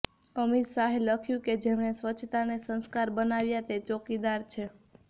અમિત શાહે લખ્યું કે જેમણે સ્વચ્છતાને સંસ્કાર બનાવ્યા તે ચોકીદાર છે